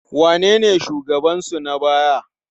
Wanene shugabansu na baya?